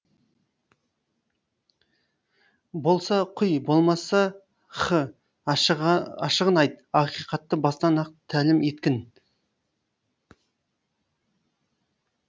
болса құй болмаса х ашығын айт ақиқатты бастан ақ тәлім еткін